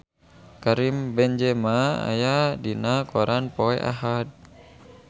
Karim Benzema aya dina koran poe Ahad